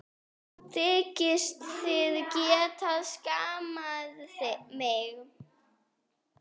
Þykist þið geta skammað mig!